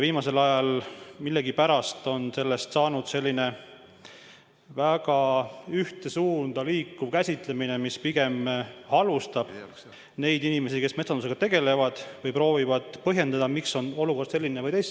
Viimasel ajal on millegipärast valdavaks saanud selline väga ühte suunda liikuv käsitlemine, mis pigem halvustab neid inimesi, kes metsandusega tegelevad ja proovivad põhjendada, miks on olukord selline, nagu ta on.